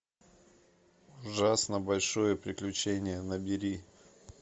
ужасно большое приключение набери